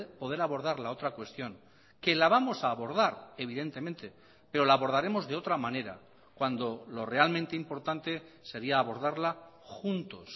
poder abordar la otra cuestión que la vamos a abordar evidentemente pero la abordaremos de otra manera cuando lo realmente importante sería abordarla juntos